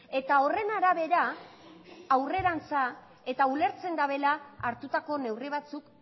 eta horren arabera aurrerantza eta ulertzen dabela hartutako neurri batzuk